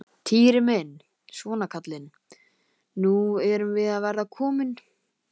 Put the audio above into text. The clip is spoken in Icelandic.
Týri minn, svona kallinn, nú erum við að verða komin.